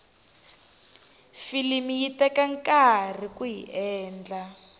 filimi yi teka nkarhi kuyi endla